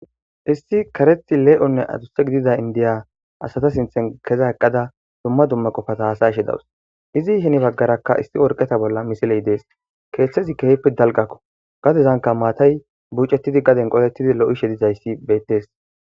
Issi karethi lee&onne adusse gidida indiya asata sinthen keza eqqada dumma dumma qofata has'ashe dawus izi hiini baggarakka issi orqeta bolla misiley dees keeththezi keehfi dalqakko gadezanka maatay bucettidi gaden qolettidi lo'ishe dizayssi beettees.